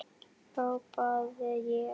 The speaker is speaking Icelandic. hrópaði ég.